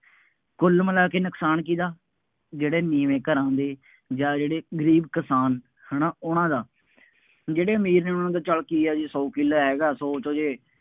ਕੁੱਲ ਮਿਲਾ ਕੇ ਨੁਕਸਾਨ ਕਿਹਦਾ, ਜਿਹੜੇ ਨੀਵੇਂ ਘਰਾਂ ਦੇ ਜਾਂ ਜਿਹੜੇ ਗਰੀਬ ਕਿਸਾਨ ਹੈ ਨਾ, ਉਹਨਾ ਦਾ, ਜਿਹੜੇ ਅਮੀਰ ਨੇ, ਉਹਨਾ ਨੂੰ ਤਾਂ ਚੱਲ ਕੀ ਹੈ ਜੀ, ਸੌ ਕਿੱਲਾ ਹੈਗਾ, ਸੌ ਚੋ ਜੇ